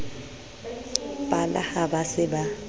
pala ha ba se ba